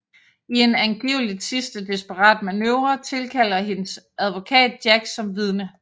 I en angiveligt sidste desperat manøvre tilkalder hendes advokat Jack som vidne